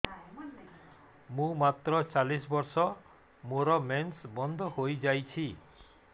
ମୁଁ ମାତ୍ର ଚାଳିଶ ବର୍ଷ ମୋର ମେନ୍ସ ବନ୍ଦ ହେଇଯାଇଛି